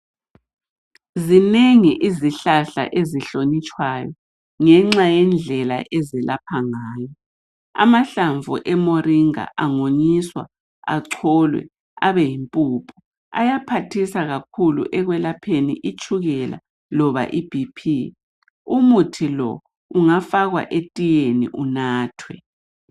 Zinengi izihlahla ezihlonitshwayo ngenxa yendlela ezelapha ngayo amahlamvu emoringa engawonyiswa acholwe abe yimpuphu ayaphathisa kakhulu ekwelapheni itshukela kumbe ibp umuthi lo ungafakwa etiyeni unathwe